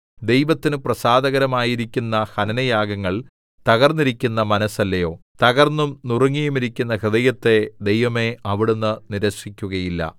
ദൈവത്തിന് പ്രസാദകരമയിരിക്കുന്ന ഹനനയാഗങ്ങൾ തകർന്നിരിക്കുന്ന മനസ്സല്ലയോ തകർന്നും നുറുങ്ങിയുമിരിക്കുന്ന ഹൃദയത്തെ ദൈവമേ അവിടുന്ന് നിരസിക്കുകയില്ല